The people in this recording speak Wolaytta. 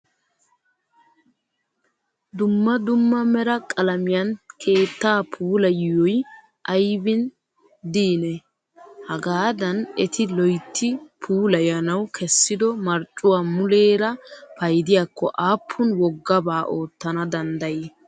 Dumma dumma mera qalamiyan keettaa puulayiyoyi ayibi diinee? Hagaadan eti loyitti puulayanawu kessido marccuwaa muleera payidiyaakko appun woggabaa oottana danddayii?